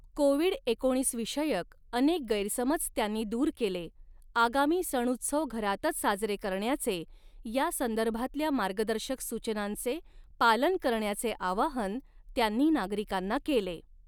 Covid एकोणीस विषयक अनेक गैरसमज त्यांनी दूर केले, आगामी सणउत्सव घरातच साजरे करण्याचे, यासंदर्भातल्या मार्गदर्शक सूचनांचे पालन करण्याचे आवाहन त्यांनी नागरिकांना केले.